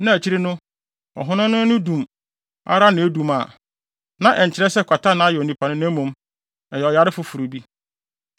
na akyiri no ɔhonam no ani dum ara na ɛredum a, na ɛnkyerɛ sɛ kwata ayɛ onipa no, na mmom, ɛyɛ ɔyare foforo bi.